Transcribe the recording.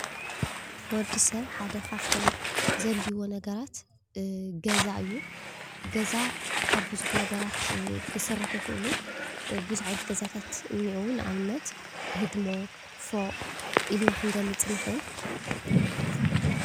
ወዲሰብ ሓደ ካፍቶም ዘድለልይዎ ነገራት ገዛ እዩ። ገዛ ካብ ብዙሕ ነገራት ክሰርሑ ይክእሉ ።ብዙሕ ዓይነታት ገዛታት እኒአው ንኣብነት፦ ህድሞ፣ ፎቅ ኢልና ክንገልፅ ንኽእል።